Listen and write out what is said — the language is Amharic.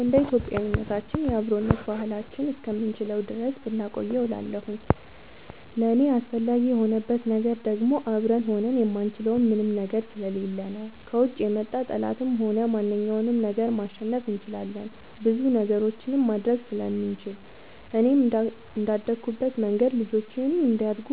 እንደ ኢትዮጵያዊነታችን የአብሮነት ባህላችንን እስከምንችለው ድረስ ብናቆየው እላለሁኝ። ለእኔ አስፈላጊ የሆንበት ነገር ደግሞ አብረን ሆነን የማንችለው ምንም ነገር ስለሌለ ነው። ከውጭ የመጣ ጠላትንም ሆነ ማንኛውንም ነገር ማሸነፍ እንችላለን ብዙ ነገሮችንም ማድረግ ስለምንችል፣ እኔም እንደአደኩበት መንገድ ልጆቼም እንዲያድጉ